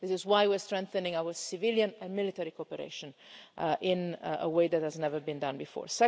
This is why we are strengthening our civilian and military cooperation in a way that has never been done before.